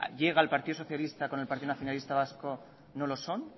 llega el partido socialista con el partido nacionalista vasco no lo son